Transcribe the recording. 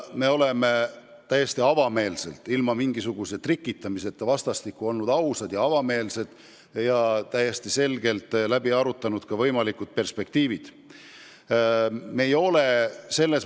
Me oleme täiesti avameelselt ilma mingisuguse trikitamiseta vastastikku ausad ja avameelsed olnud ning võimalikud perspektiivid läbi arutanud.